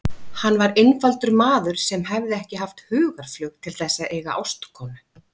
Hann var einfaldur maður sem hefði ekki haft hugarflug til þess að eiga ástkonu.